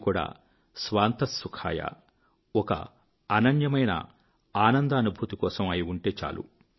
అది కూడా స్వాంతః సుఖాయ ఒక అనన్యమైన ఆనందానుభూతి కోసం అయి ఉంటే చాలు